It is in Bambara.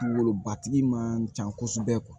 Wolobatigi man ca kosɛbɛ